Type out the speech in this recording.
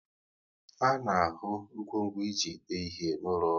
A na ahụ ngwo ngwo e ji ede ihe n'ụlọ ọrụ